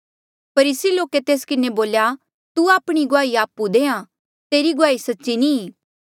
फरीसी लोके तेस किन्हें बोल्या तू आपणी गुआही आपु देहां तेरी गुआही सच्ची नी ई